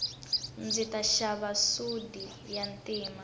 ndzi ta xava sudi ya ntima